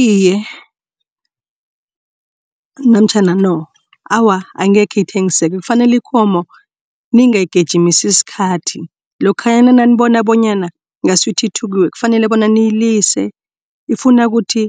Iye, namtjhana no awa angekhe ithengisake kufanele ikomo nengayigijimisi isikhathi lokhanyana nanibona bonyana ngasuthi ithukiwe kufanele bona niyilise ufuna ukuthi